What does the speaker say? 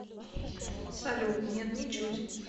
салют нет ничуть